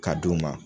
Ka d'u ma